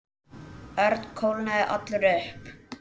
Örn kólnaði allur upp.